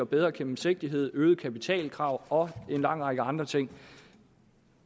bedre gennemsigtighed øgede kapitalkrav og en lang række andre ting